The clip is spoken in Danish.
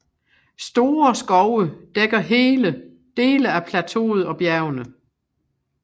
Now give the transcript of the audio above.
Store skove dækker dele af plateauet og bjergene